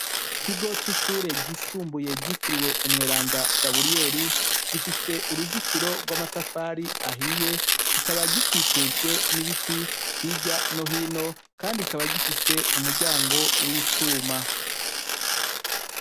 Ikigo c’ishuri ryisumbuye ryitiriwe umweranda Gaburiyeri, gifise urizitiro rw’amatafari ahiye , kikaba gikikujwe n’ibiti hirya no hino, Kandi kikaba gifise umuryango w’icuma.